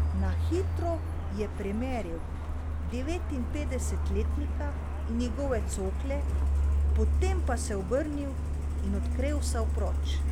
Na hitro je premeril devetinpetdesetletnika in njegove cokle, potem pa se obrnil in odkrevsal proč.